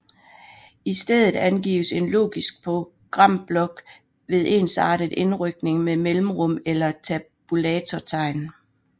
I stedet angives en logisk programblok ved ensartet indrykning med mellemrum eller tabulatortegn